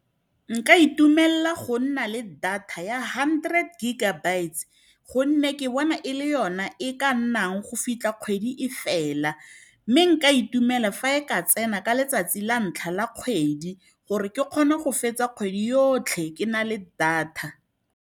Nka itumelela go nna le data ya hundred giga bytes, gonne ke bona e le yona e ka nnang go fitlha kgwedi e fela. Mme nka itumela fa e ka tsena ka letsatsi la ntlha la kgwedi, gore ke kgona go fetsa kgwedi yotlhe ke na le data.